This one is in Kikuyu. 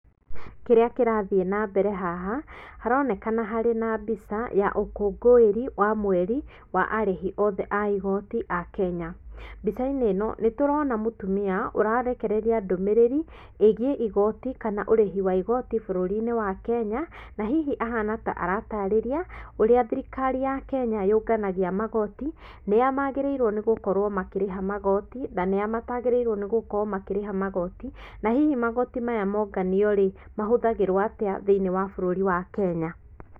Kĩrĩa kĩrathiĩ na mbere haha, haronekana harĩ na mbica ya ũkũngũĩri wa mweri a arĩhi othe a igoti a kenya. Mbica-inĩ ĩno nĩ tũrona mũtumia ũrarekereria ndũmĩrĩri ĩgíiĩ igoti kana ũrĩhi wa igoti bũrũri-inĩ wa Kenya, na hihi ahana ta aratarĩria ũrĩa thirikari ya Kenya yũnganagia magoti, nĩa magĩrĩirwo nĩgũkorũo makĩrĩha magoti na nĩa matagĩrĩirwo nĩgũkorwo makĩrĩha magoti, na hihi magoti maya monganio-rĩ mahũthagĩrwo atĩa thĩiniĩ wa bũrũri wa Kenya.